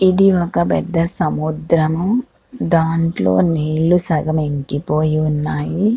ఇది ఒక పెద్ద సముద్రము. దాంట్లో నీళ్లు సగము ఇంకిపోయి ఉన్నాయి.